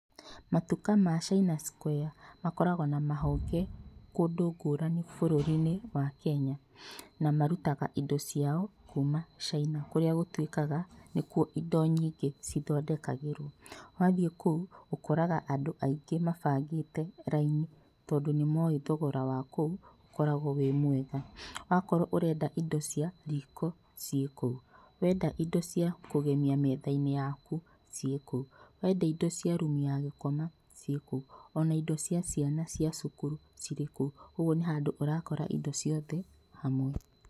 Matuka ma Chaina square, makoragwo na mahonge kũndũ ngũrani bũrũri-inĩwa Kenya. Na marutaga indo ciao kuma Caina kũrĩa gũtuĩkaga nĩkuo indo nyingĩ cithondekagĩrwo. Wathiĩ kũu ũkoraga andũ aingĩ mabangĩte raini tondũ nĩmoĩ thogora wa kũu ũkoragwo wĩ mwega. Wakorwo ũrenda indo cia riko, ciĩ kũu. Wenda indo cia kũgemia metha-inĩ yaku, ciĩ kũu. Wenda indo cia rumu ya gũkoma, ciĩ kũu. Ona indo cia ciana cia cukuru, cirĩ kũu. Ũguo nĩ handũ ũrakora indo ciothe hamwe.